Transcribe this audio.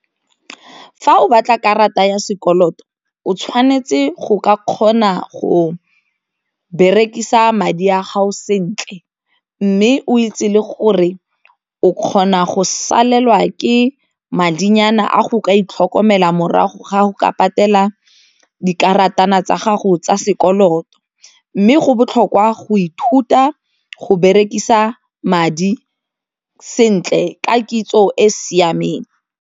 Fa o batla karata ya sekoloto o tshwanetse go ka kgona go berekisa madi a gago sentle mme o itse le gore o kgona go salelwa ke madinyana a go ka itlhokomela morago ga go ka patela dikarata nna tsa gago tsa sekoloto, mme go botlhokwa go ithuta go berekisa madi sentle ka kitso e siameng.